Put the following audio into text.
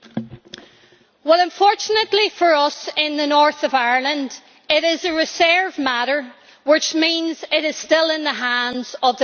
Unfortunately for us in the north of Ireland it is a reserved matter, which means it is still in the hands of the British Government.